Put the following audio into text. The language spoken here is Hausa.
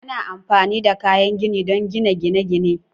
Ana amfani da kayan gini don gina gine-gine